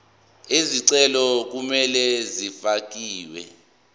izicelo kumele zifakelwe